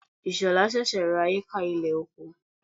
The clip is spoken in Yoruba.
Ishola sẹ̀sẹ̀ ra hékà ilẹ̀ oko.